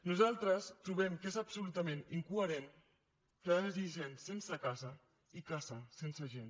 nosaltres trobem que és absolutament incoherent que hi hagi gent sense casa i cases sense gent